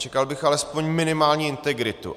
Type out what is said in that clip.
Čekal bych alespoň minimální integritu.